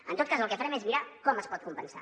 en tot cas el que farem és mirar com es pot compensar